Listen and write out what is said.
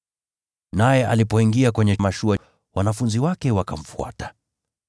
Naye alipoingia kwenye mashua, wanafunzi wake wakamfuata.